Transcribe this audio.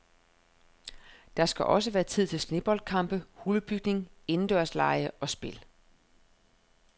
Der skal også være tid til sneboldkampe, hulebygning, indendørslege og spil.